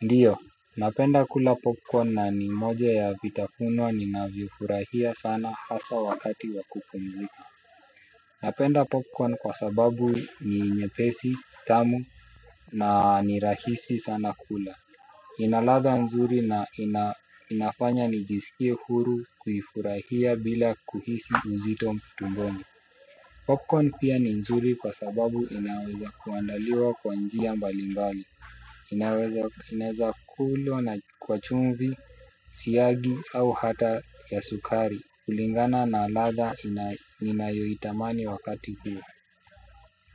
Ndio, napenda kula popcorn na ni moja ya vitafuno ninavyofurahia sana hasa wakati wa kupumzika. Napenda popcorn kwa sababu ni nyepesi, tamu na ni rahisi sana kula. Ina ladha nzuri na inafanya nijisikie huru kuifurahia bila kuhisi uzito tumboni. Popcorn pia ni nzuri kwa sababu inaweza kuandaliwa kwa njia mbali mbali. Inaweza kulwa na kwa chumvi, siagi au hata ya sukari. Kulingana na ladha ninayoitamani wakati huo.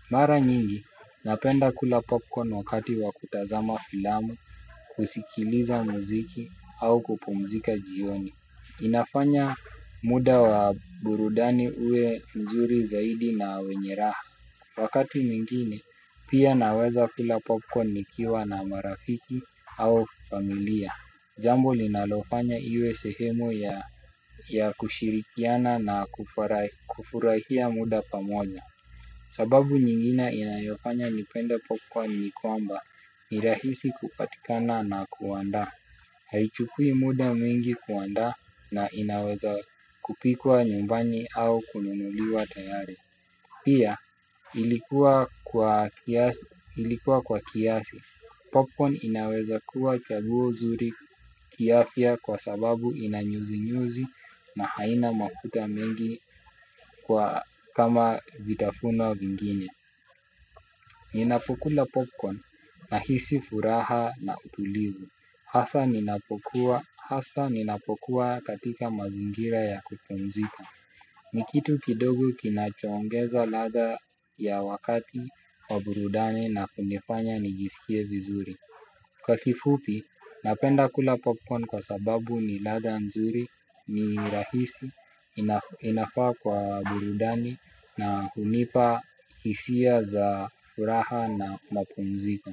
Mara nyingi, napenda kula popcorn wakati wa kutazama filamu, kusikiliza muziki au kupumzika jioni. Inafanya muda wa burudani uwe mzuri zaidi na wenye raha. Wakati mwingine pia naweza ila popcorn nikiwa na marafiki au familia. Jambo linalofanya iwe sehemu ya kushirikiana na kufurahia muda pamoja. Sababu nyingine inayofanya nipende popcorn ni kwamba ni rahisi kupatikana na kuandaa. Haichukui muda mwingi kuandaa na inaweza kupikwa nyumbani au kununuliwa tayari. Pia ilikuwa kwa kiasi. Popcorn inaweza kuwa chaguo zuri kiafya kwa sababu ina nyuzinyuzi na haina makuta mengi kama vitafuno vingine. Ninapokula popcorn nahisi furaha na utulivu. Hasa ninapokua katika mazingira ya kupumzika. Ni kitu kidogo kinachoongeza ladha ya wakati wa burudani na kunifanya nijisikie vizuri. Kwa kifupi, napenda kula popcorn kwa sababu ni ladha nzuri, ni rahisi, inafaa kwa burudani na hunipa hisia za furaha na mapumziko.